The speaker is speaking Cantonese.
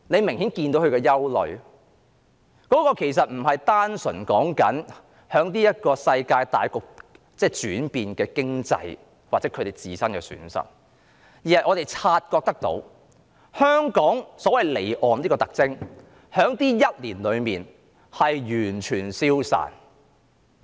他們的憂慮其實並非單純針對現今世界大局——即經濟轉變——或他們自身的損失，而是——我們察覺到——香港這個所謂離岸的特徵在這一年內完全消失。